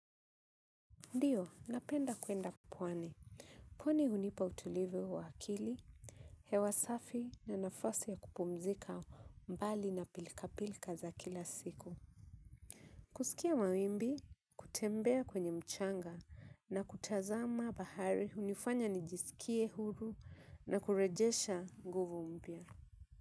Ndio napenda kwenda pwani. Pwani hunipa utulivu wa akili hewa safi na nafasi ya kupumzika mbali na pilka pilka za kila siku. Kusikia mawimbi, kutembea kwenye mchanga na kutazama bahari hunifanya nijisikie huru na kurejesha nguvu mpya.